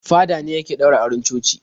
Fada ne yake ɗaura auren coci.